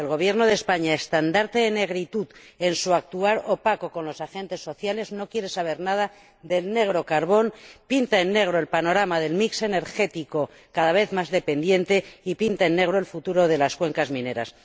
El Gobierno de España, estandarte en negritud en su actual opacidad con los agentes sociales, no quiere saber nada del negro carbón, pinta en negro el panorama del mix energético, cada vez más dependiente, y pinta en negro el futuro de las cuencas mineras.